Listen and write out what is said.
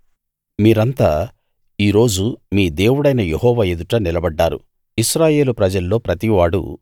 మీరంతా ఈ రోజు మీ దేవుడైన యెహోవా ఎదుట నిలబడ్డారు ఇశ్రాయేలు ప్రజల్లో ప్రతివాడూ